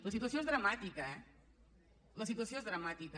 la situació és dramàtica eh la situació és dramàtica